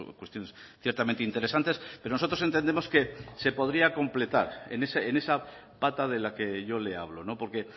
cuestiones ciertamente interesantes pero nosotros entendemos que se podría completar en esa pata de la que yo le hablo porque